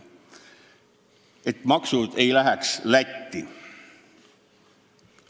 See, et maksud ei läheks Lätti.